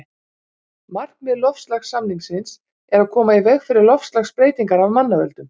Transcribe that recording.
Markmið loftslagssamningsins er að koma í veg fyrir loftslagsbreytingar af mannavöldum.